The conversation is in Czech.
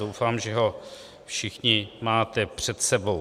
Doufám, že ho všichni máte před sebou.